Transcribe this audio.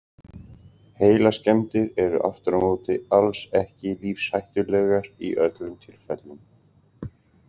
Heilaskemmdir eru aftur á móti alls ekki lífshættulegar í öllum tilfellum.